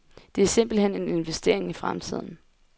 Det er simpelthen en investering i fremtiden.